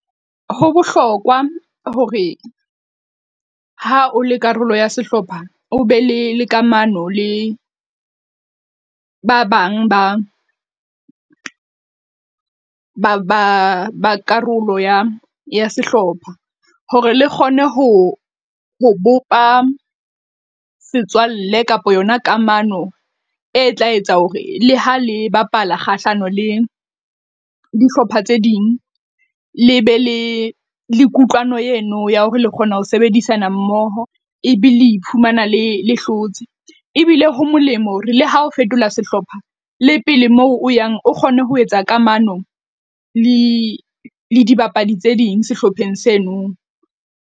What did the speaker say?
Ho bohlokwa hore ha o le karolo ya sehlopha, o be le le kamano le ba bang ba ba ba ba karolo ya ya sehlopha. Hore le kgone ho ho bopa setswalle kapa yona kamano e tla etsa hore le ha le bapala kgahlano le dihlopha tse ding. Le be le le kutlwano eno ya hore le kgona ho sebedisana mmoho. E be li le iphumana le hlotse, ebile ho molemo hore le ha o fetola sehlopha le pele moo o yang o kgone ho etsa kamano le le dibapadi tse ding sehlopheng seno.